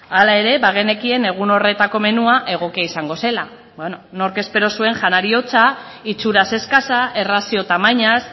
hala ere bagenekien egun horretako menua egokia izango zela nork espero zuen janari hotza itxuraz eskasa errazio tamainaz